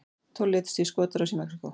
Tólf létust í skotárás í Mexíkó